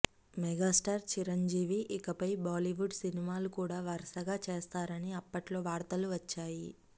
megastar Chiranjeevi ఇకపై బాలీవుడ్ సినిమాలు కూడా వరసగా చేస్తారని అప్పట్లో వార్తలు వచ్చాయి